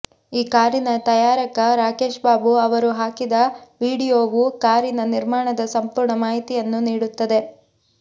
ಈ ಕಾರಿನ ತಯಾರಕ ರಾಕೇಶ್ ಬಾಬು ಅವರು ಹಾಕಿದ ವೀಡಿಯೊವು ಕಾರಿನ ನಿರ್ಮಾಣದ ಸಂಪೂರ್ಣ ಮಾಹಿತಿಯನ್ನು ನೀಡುತ್ತದೆ